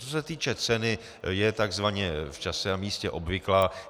Co se týče ceny, je takzvaně v čase a místě obvyklá.